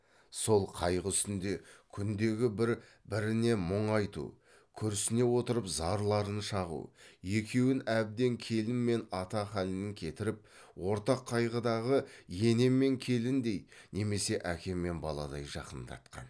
сол қайғы үстінде күндегі бір біріне мұң айту күрсіне отырып зарларын шағу екеуін әбден келін мен ата халінен кетіріп ортақ қайғыдағы ене мен келіндей немесе әке мен баладай жақындатқан